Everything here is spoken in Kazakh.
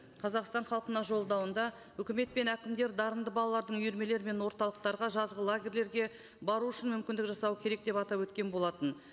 қазақстан халқына жолдауында үкімет пен әкімдер дарынды балалардың үйірмелері мен орталықтарға жазғы лагерлерге бару үшін мүмкіндік жасау керек деп атап өткен болатын